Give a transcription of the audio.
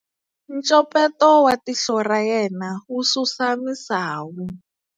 Ncopeto wa tihlo ra yena wu susa misawu.